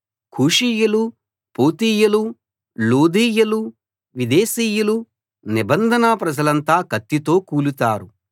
కూషీయులు పూతీయులు లూదీయులు విదేశీయులు నిబంధన ప్రజలంతా కత్తితో కూలుతారు